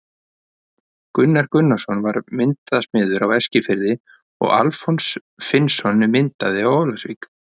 Gunnar Gunnarsson var myndasmiður á Eskifirði og Alfons Finnsson myndaði á Ólafsvík.